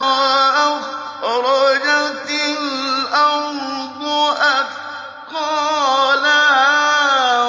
وَأَخْرَجَتِ الْأَرْضُ أَثْقَالَهَا